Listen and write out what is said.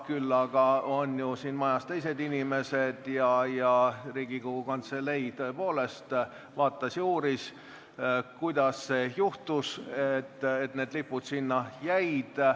Küll aga on siin majas ju teised inimesed ja Riigikogu Kantselei tõepoolest uuris, kuidas see juhtus, et need lipud sinna jäid.